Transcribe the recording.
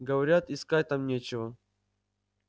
говорят искать там нечего